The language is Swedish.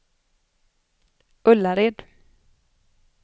Ullared